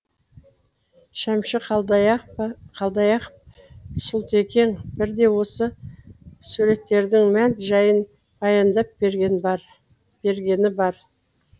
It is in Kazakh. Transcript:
шәмші қалдаяқов сұлтекең бірде осы суреттердің мән жайын баяндап бергені бар